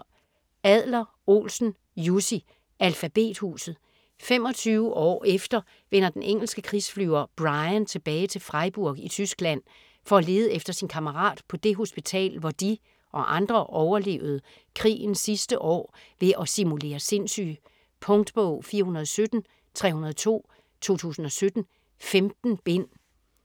Adler-Olsen, Jussi: Alfabethuset 25 år efter vender den engelske krigsflyver Bryan tilbage til Freiburg i Tyskland for at lede efter sin kammerat på det hospital hvor de - og andre - overlevede krigens sidste år ved at simulere sindssyge. Punktbog 417302 2017. 15 bind.